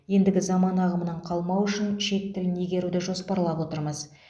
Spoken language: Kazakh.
ендігі заман ағымынан қалмау үшін шет тілін игеруді жоспарлап отырмыз